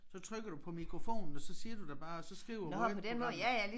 Så trykker du på mikrofonen og så siger du det bare og så skriver Word programmet